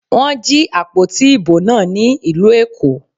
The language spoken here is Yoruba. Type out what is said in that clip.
Wọ́n jí àpótí ìbò náà ní ìlú Èkó.